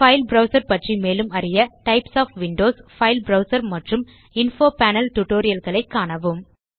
file browser பற்றி மேலும் அறிய types of Windows file browser மற்றும் இன்ஃபோ பேனல் டியூட்டோரியல் ஐ காணவும்